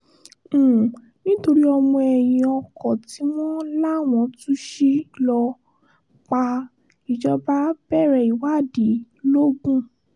um nítorí ọmọ ẹ̀yìn ọkọ tí wọ́n láwọn tuci ló um pa á ìjọba bẹ̀rẹ̀ ìwádìí l ogun